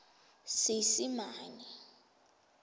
seesimane